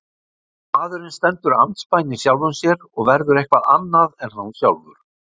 Maðurinn stendur andspænis sjálfum sér og verður eitthvað annað en hann sjálfur.